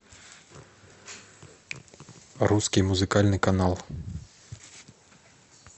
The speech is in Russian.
русский музыкальный канал